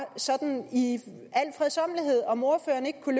sådan i al fredsommelighed om ordføreren ikke kunne